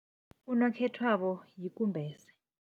Unokhethwabo yikumbese.